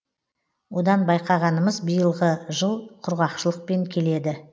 одан байқағанымыз биылғы жыл құрғақшылықпен келеді